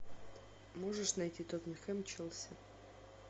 можешь найти тоттенхэм челси